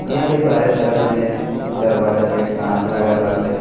यहाँ पे बाहरे तरफ में दरवाजा पे कांच लगा बाटे।